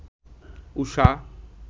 Usha